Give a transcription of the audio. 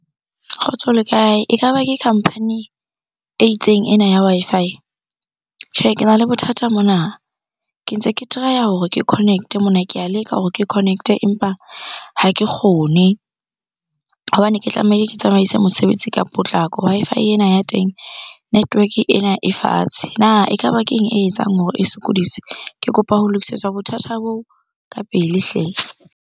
Kgotso le kae? Ekaba ke company e itseng ena ya Wi-Fi. Tjhe, kena le bothata mona. Ke ntse ke try-a hore ke connect-mona, ke a leka hore ke connect e, empa ha ke kgone hobane ke tlamehile ke tsamaise mosebetsi ka potlako. Wi-Fi ena ya teng, network-e ena e fatshe. Na ekaba ke eng e etsang hore e sokodise? Ke kopa ho lokisetswa bothata bo ka pele hle!